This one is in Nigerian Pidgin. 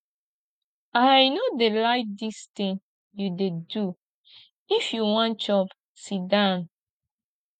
i no dey like dis thing you dey do if you wan shop sit down